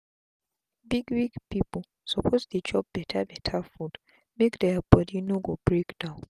big big pipu suppose dey chop beta beta food make dia bodi no go break down